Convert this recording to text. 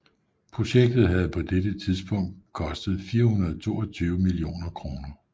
Projektet havde på dette tidspunkt kostet 422 millioner kroner